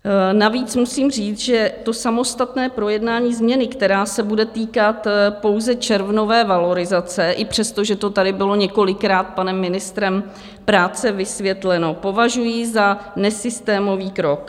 Navíc musím říct, že to samostatné projednání změny, která se bude týkat pouze červnové valorizace, i přesto, že to tady bylo několikrát panem ministrem práce vysvětleno, považuji za nesystémový krok.